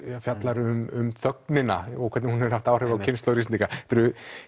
fjallar um þögnina og hvernig hún hefur haft áhrif á kynslóðir Íslendinga þetta eru